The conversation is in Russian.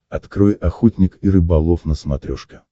открой охотник и рыболов на смотрешке